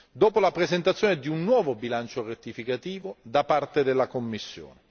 dopo la presentazione di un nuovo bilancio rettificativo da parte della Commissione.